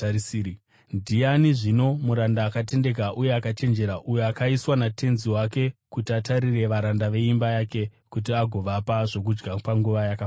“Ndiani zvino muranda akatendeka uye akachenjera uyo akaiswa natenzi wake kuti atarire varanda veimba yake kuti agovapa zvokudya panguva yakafanira?